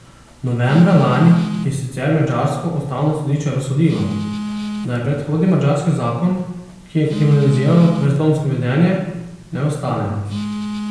Novembra lani je sicer madžarsko ustavno sodišče razsodilo, da je predhodni madžarski zakon, ki je kriminaliziral brezdomsko vedenje, neustaven.